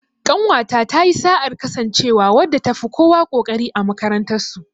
Ƙanwata ta yi sa'ar kasancewa wadda ta fi kowa ƙoƙari a makarantar su.